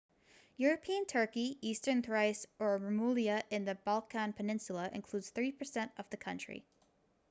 european turkey eastern thrace or rumelia in the balkan peninsula includes 3% of the country